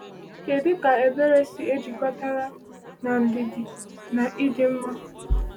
Kedu ka ebere si ejikọtara na ndidi na ịdị mma?